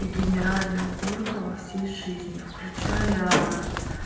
и генеральная уборка во всей жизни включая